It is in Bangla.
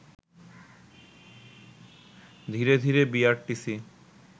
ধীরে ধীরে বিআরটিসি